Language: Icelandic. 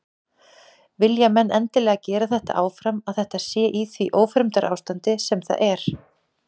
Vilja menn endilega gera þetta áfram að þetta sé í því ófremdarástandi sem það er?